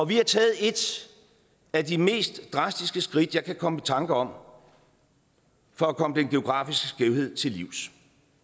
vi har taget et af de mest drastiske skridt jeg kan komme i tanke om for at komme den geografiske skævhed til livs